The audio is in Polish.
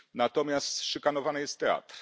Natomiast szykanowany jest teatr.